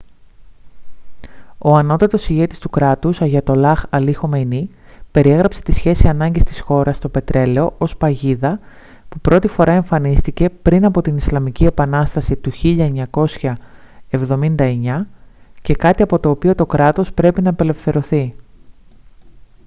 ο ανώτατος ηγέτης του κράτους αγιατολλάχ αλί χαμενεΐ περιέγραψε την σχέση ανάγκης της χώρας το πετρέλαιο ως «παγίδα» που πρώτη φορά εμφανίστηκε πριν από την ισλαμική επανάσταση του 1979 και κάτι από το οποίο το κράτος πρέπει να απελευθερωθεί